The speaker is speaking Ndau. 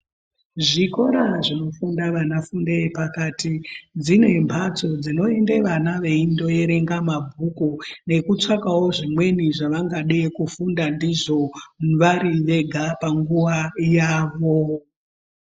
Zvikora zvinofunda vana fundo yepakati, dzine mhatso dzinoende vana veindo erenge mabhuku nekutsvakawo zvimweni zvavangade kufunda ndizvo vari vega panguwa yavo.